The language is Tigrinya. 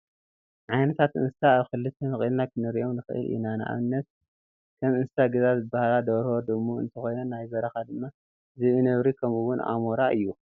ዓይነታት እንስሳ ኣብ ክልተ መቂልና ክንሪኦ ንክእል ኢና ንኣብነት፦ ከም እንስሳ ገዛ ዝበሃላ ደርሆ ፣ድሙ እንትኮና ናይ በረካ ድማ ዝብኢ፣ ነብሪ ከምኡ እውን ኣሞራ እዩ።